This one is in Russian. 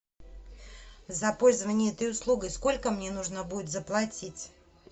за пользование этой услугой сколько мне нужно будет заплатить